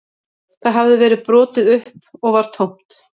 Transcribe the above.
Það hafði verið brotið upp og var tómt